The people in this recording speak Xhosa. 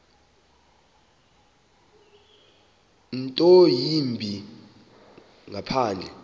nto yimbi ngaphandle